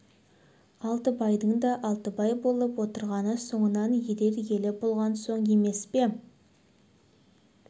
алтыбайдың да алтыбай болып отырғаны соңынан ерер елі болған соң емес пе